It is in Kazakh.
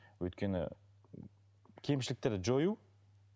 өйткені кемшіліктерді жою